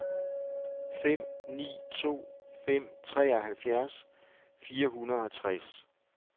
fem ni to fem treoghalvfjerds fire hundrede og tres